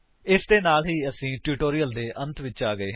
ਇਸ ਦੇ ਨਾਲ ਹੀ ਅਸੀਂ ਇਸ ਟਿਊਟੋਰਿਅਲ ਦੇ ਅੰਤ ਵਿਚ ਆ ਗਏ ਹਾਂ